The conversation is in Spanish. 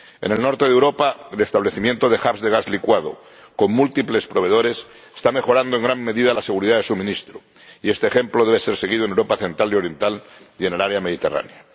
En el norte de Europa, el establecimiento de hubs de gas licuado, con múltiples proveedores, está mejorando en gran medida la seguridad de suministro, y este ejemplo debe ser seguido en Europa central y oriental y en el área mediterránea.